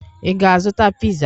Ị ga-azụta piza?